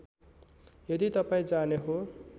यदि तपाईँ जाने हो